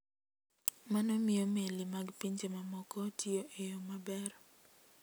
Mano miyo meli mag pinje mamoko tiyo e yo maber.